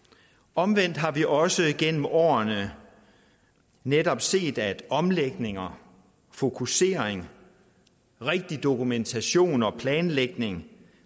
omvendt har vi også gennem årene netop set at omlægninger fokusering rigtig dokumentation og planlægning